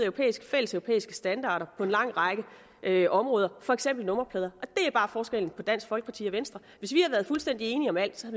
fælles standarder på en lang række områder for eksempel nummerplader og er bare forskellen på dansk folkeparti og venstre hvis vi havde været fuldstændig enige om alt så